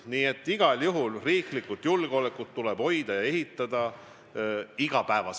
Nii et igal juhul tuleb riiklikku julgeolekut hoida ja ehitada iga päev.